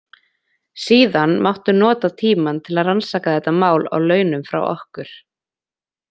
Síðan máttu nota tímann til að rannsaka þetta mál á launum frá okkur.